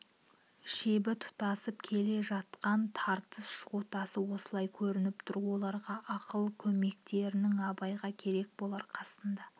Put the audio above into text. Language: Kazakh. шебі тұтасып келе жатқан тартыс жотасы осылай көрініп тұр оларға ақыл көмектерің абайға керек болар қасында